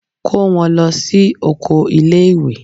Kó wọn lọ sí oko ilé ìwé.